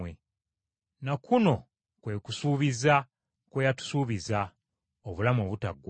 Na kuno kwe kusuubiza kwe yatusuubiza: obulamu obutaggwaawo.